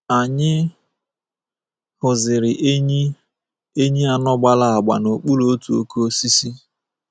Anyị hụziri enyí enyí anọ gbara agba n’okpuru otu oke osisi.